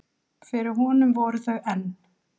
Fyrir honum voru þau enn